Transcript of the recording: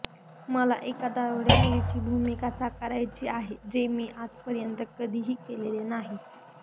मला एका दारुड्या मुलीची भूमिका साकारायची आहे जे मी आजपर्यंत कधीही केलेले नाही